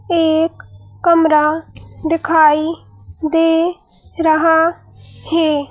एक कमरा दिखाई दे रहा है।